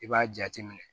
I b'a jateminɛ